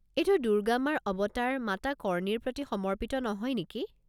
এইটো দুৰ্গা মাৰ অৱতাৰ মাতা কৰ্ণীৰ প্ৰতি সমৰ্পিত নহয় নেকি?